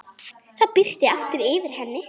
Það birti aftur yfir henni.